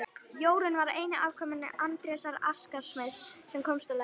Jórunn var eini afkomandi Andrésar askasmiðs sem komst á legg.